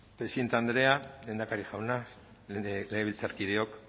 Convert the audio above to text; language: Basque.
presidente andrea lehendakari jauna legebiltzarkideok